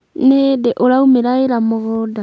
nĩ hĩndĩ ũraumĩra wĩra mũgũnda?